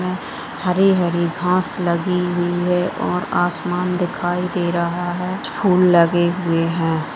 हरी-हरी घास लगी हुई है और आसमान दिखाई दे रहा है फूल लगे हुए है।